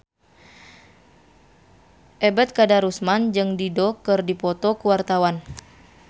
Ebet Kadarusman jeung Dido keur dipoto ku wartawan